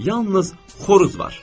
Yalnız xoruz var.